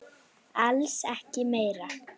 Alls ekki meira.